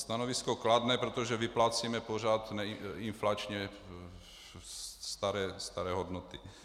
Stanovisko kladné, protože vyplácíme pořád inflačně staré hodnoty.